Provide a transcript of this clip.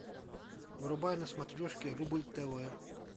врубай на смотрешке рубль тв